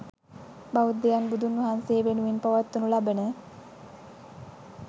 බෞද්ධයන් බුදුන් වහන්සේ වෙනුවෙන් පවත්වනු ලබන